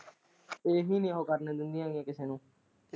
ਇਹੀ ਹੀ ਆ ਉਹ ਗੱਲ ਹੋਰ ਕੁੱਝ ਨਹੀਂ ।